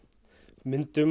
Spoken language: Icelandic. myndum